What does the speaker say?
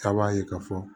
K'a b'a ye k'a fɔ